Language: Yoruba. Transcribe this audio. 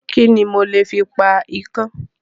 Kíni mo lè fi pa ikán?